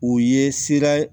U ye sira